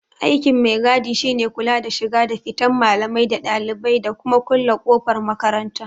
Aikin mai-gadi shine kula da shiga da fitan malamai da ɗalibai, da kuma kulle kofar makaranta.